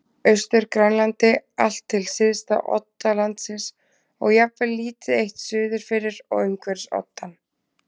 Austur-Grænlandi allt til syðsta odda landsins og jafnvel lítið eitt suður fyrir og umhverfis oddann.